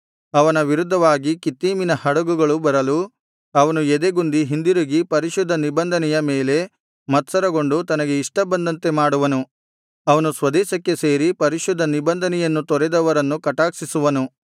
ಅವನ ವಿರುದ್ಧವಾಗಿ ಕಿತ್ತೀಮಿನ ಹಡಗುಗಳು ಬರಲು ಅವನು ಎದೆಗುಂದಿ ಹಿಂದಿರುಗಿ ಪರಿಶುದ್ಧ ನಿಬಂಧನೆಯ ಮೇಲೆ ಮತ್ಸರಗೊಂಡು ತನಗೆ ಇಷ್ಟ ಬಂದಂತೆ ಮಾಡುವನು ಅವನು ಸ್ವದೇಶಕ್ಕೆ ಸೇರಿ ಪರಿಶುದ್ಧ ನಿಬಂಧನೆಯನ್ನು ತೊರೆದವರನ್ನು ಕಟಾಕ್ಷಿಸುವನು